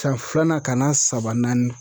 San filanan ka na saba naani